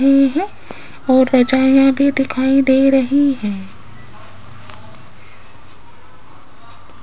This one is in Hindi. ये है और रजाईयां भी दिखाई दे रही है।